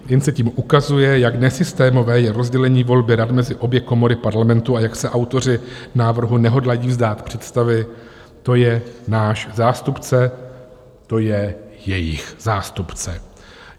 Jen se tím ukazuje, jak nesystémové je rozdělení volby rad mezi obě komory parlamentu a jak se autoři návrhu nehodlají vzdát představy "to je náš zástupce, to je jejich zástupce".